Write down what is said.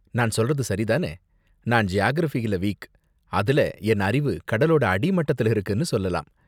நான் சொல்றது சரி தான? நான் ஜியாகிரஃபில வீக், அதுல என் அறிவு கடலோட அடி மட்டத்தில் இருக்குன்னு சொல்லலாம்.